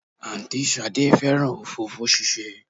Àǹtí Ṣadé fẹ́ràn òfófó ṣíṣe